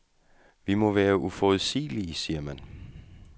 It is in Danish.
Vi må være uforudsigelige, siger man.